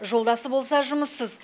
жолдасы болса жұмыссыз